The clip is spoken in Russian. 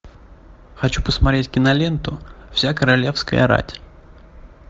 хочу посмотреть киноленту вся королевская рать